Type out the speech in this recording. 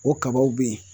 O kabaw be ye